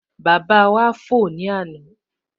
Bàbá wá fò ní àná